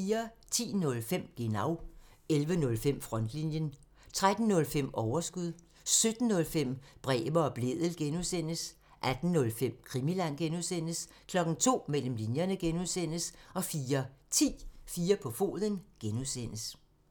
10:05: Genau (tir) 11:05: Frontlinjen (tir) 13:05: Overskud (tir) 17:05: Bremer og Blædel (G) (tir) 18:05: Krimiland (G) (tir) 02:00: Mellem linjerne (G) (tir) 04:10: 4 på foden (G) (tir)